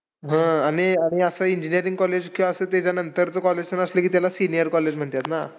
हां. आणि आणि असं engineering college किंवा असं त्याच्यानंतरचं college असलं की त्याला senior college म्हणतात ना